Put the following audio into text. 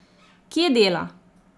Kje dela?